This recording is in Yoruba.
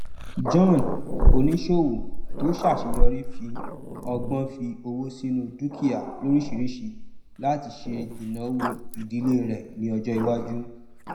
john oníṣòwò tó ṣàṣeyọrí fi ọgbọn fi owó sínú dukia lóríṣìíríṣìí láti ṣe ìnáwó ìdílé rẹ ní ọjọ iwájú